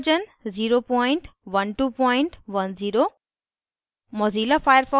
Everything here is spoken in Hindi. * gchempaint version 01210